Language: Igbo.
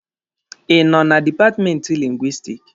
Ị nọ na dipatmenti Lingwisitiki?